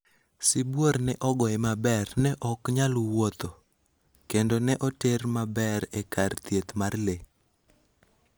Sibuor ne ogoye maber, ne ok nyal wuotho ??kendo ne oter maber e kar thieth mar le